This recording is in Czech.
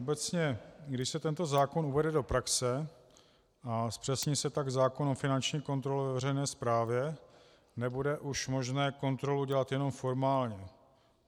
Obecně když se tento zákon uvede do praxe a zpřesní se tak zákon o finanční kontrole ve veřejné správě, nebude už možné kontrolu dělat jenom formálně.